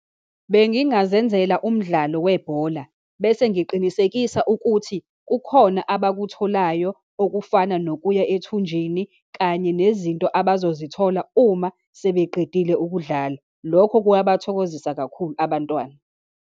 Bengingazenzela umdlalo webhola, bese ngiqinisekisa ukuthi kukhona abakutholayo okufana nokuya ethunjini, kanye nezinto abazozithola uma sebeqedile ukudlala. Lokho kuyabathokozisa kakhulu abantwana.